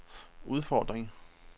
udfordring